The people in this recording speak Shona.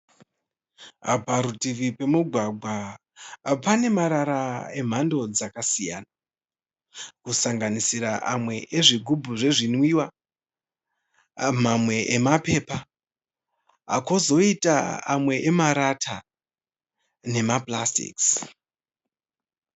Parutivi pemugwagwa pane marara emhando dzakasiyana kusanganisira mamwe ezvigubhu zvezvinwiwa amwe mapepa kozoita amwe emarata nemapurasitiki